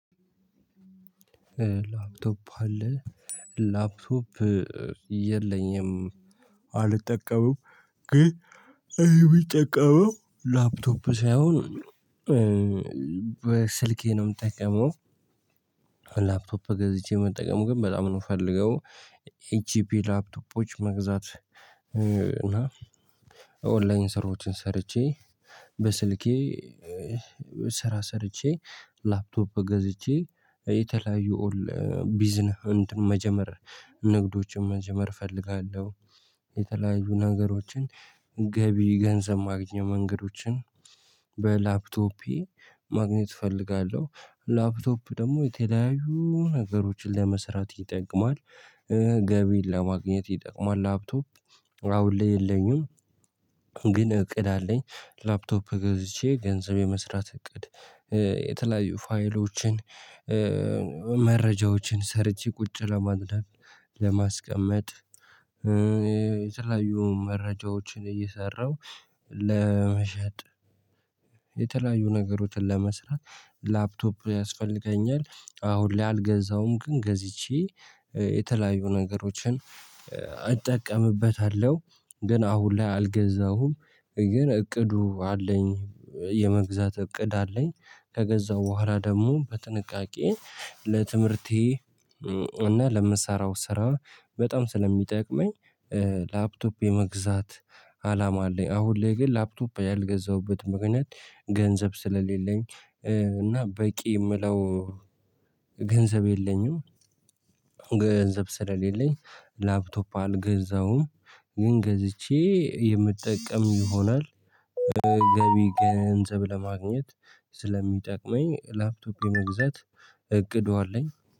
ላፕቶፕ አለ ላፕቶፕ የለኝም አልጠቀምም ግን እኔ የምጠቀመው ላፕቶፕ ሳይሆን በስልኬ ነው የምጠቀመው ላፕቶፕ ገዝቼ መጠቀሙ ግን በጣም ነው የምፈልገው ኤጂፒ ላፕቶፖች መግዛት እና ኦንላይን ስራዎችን ሰርቼ በስልኬ ስራ ሰርቼ ላፕቶፕ ገዝቼ የተለያዩ ቢዝነስ መጀመር ንግዶችን መጀመር እፈልጋለሁ የተለያዩ ነገሮችን ገቢ ገንዘብ ማግኘት መንገዶችን በላፕቶፔ ማግኘት እፈልጋለሁ ላፕቶፕ ደግሞ የተለያዩ ነገሮችን ለመስራት ይጠቅማል ገቢን ለማግኘት ይጠቅማል ላፕቶፕ አሁን ላይ የለኝም ግን እቅድ አለኝ ላፕቶፕ ገዝቼ ገንዘብ የመስራት እቅድ የተለያዩ ፋይሎችን መረጃዎችን ሰርቼ ቁጭ ለማድረግ፣ ለማስቀመጥ የተለያዩ መረጃዎችን እየሰራሁ ለመሸጥ፣ የተለያዩ ነገሮችን ለመስራት ላፕቶፕ ያስፈልገኛል አሁን ላይ አልገዛውም። ግን ገዝቼ የተለያዩ ነገሮችን አጠቀምበታለሁ። ግን አሁን ላይ አልገዛሁም ግን እቅዱ አለኝ የመግዛት እቅድ አለኝ ከገዛው በኋላ ደግሞ በጥንቃቄ ለትምህርቴ እና ለምሰራው ስራ በጣም ስለሚጠቅመኝ ላፕቶፕ የመግዛት አላማ አለኝ አሁን ላይ ግን ላፕቶፕ ያልገዛሁበት ምክንያት ገንዘብ ስለሌለኝ እና በቂ የምለው ገንዘብ የለኝም ገንዘብ ስለሌለኝ ላፕቶፕ አልገዛሁም። ግን ገዝቼ የምጠቀም ይሆናል። ገቢ ገንዘብ ለማግኘት ስለሚጠቅመኝ ላፕቶፕ የመግዛት እቅዱ አለኝ።